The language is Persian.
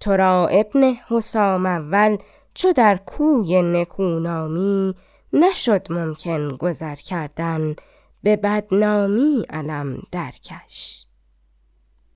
ترا ابن حسام اول چو در کوی نکونامی نشد ممکن گذر کردن به بدنامی علم در کش